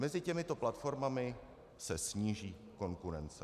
Mezi těmito platformami se sníží konkurence.